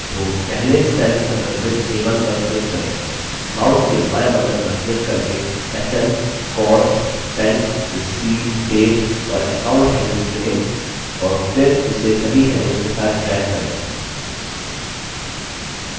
तो पहले cell संदर्भित a1 पर click करें mouse के बायें button पर click करके sn cost spent received date और account headings चुनें और फिर इसे सभी headings के साथ ड्रैग करें